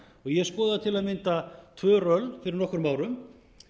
ég skoðaði til að mynda tvö röll fyrir nokkrum árum